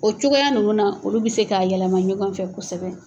O cogoya ninnu na olu bi se k'a yɛlɛma ɲɔgɔn fɛ kosɛbɛ.